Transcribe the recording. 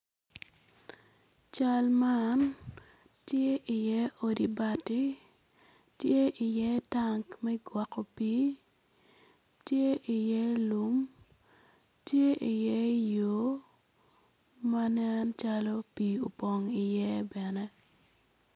Cal man tye iye odi bati tye iye tank me gwoko pii tye iye lum tye iye yo ma nen calo pii opong iye bene.